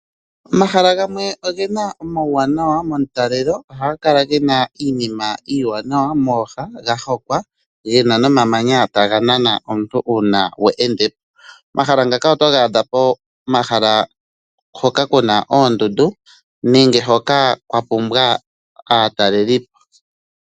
Omahala gamwe ogena omauwanawa momutalelo ohaga kala gena iinima iiwanawa mooha gahongwa gena nomamanya taga nana omuntu uuna we endepo. Omahala ngaka otoga adha pomahala hoka kuna oondundu nenge hoka kwa pumbwa aatalelipo.